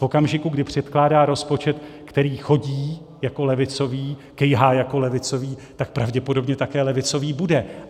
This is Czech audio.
V okamžiku, kdy předkládá rozpočet, který chodí jako levicový, kejhá jako levicový, tak pravděpodobně také levicový bude.